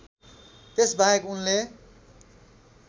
त्यसबाहेक उनले